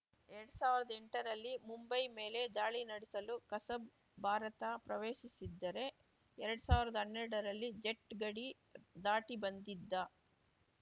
ಎರಡ್ ಸಾವ್ರ್ದಾ ಎಂಟರಲ್ಲಿ ಮುಂಬೈ ಮೇಲೆ ದಾಳಿ ನಡೆಸಲು ಕಸಬ್‌ ಭಾರತ ಪ್ರವೇಶಿಸಿದ್ದರೆ ಎರಡ್ ಸಾವ್ರ್ದಾ ಹನ್ನೆರಡರಲ್ಲಿ ಜಟ್‌ ಗಡಿ ದಾಟಿ ಬಂದಿದ್ದ